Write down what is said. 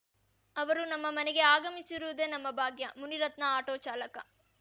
ಅವರು ನಮ್ಮ ಮನೆಗೆ ಆಗಮಿಸಿರುವುದೇ ನಮ್ಮ ಭಾಗ್ಯ ಮುನಿರತ್ನ ಆಟೋ ಚಾಲಕ